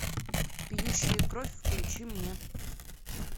пьющие кровь включи мне